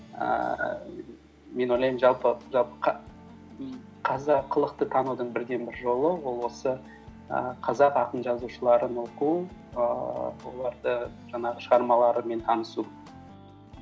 ііі мен ойлаймын жалпы қазақылықты танудың бірден бір жолы ол осы ііі қазақ ақын жазушыларын оқу ііі олардың жаңағы шығармаларымен танысу